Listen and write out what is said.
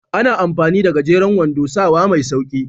Ana amfani da gajeren wando sawa mai sauƙi.